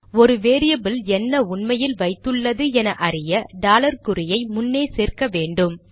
ஒரு வேரியபில் என்ன உண்மையில் வைத்துள்ளது என அறிய டாலர் குறியை முன்னே சேர்க்க வேண்டும்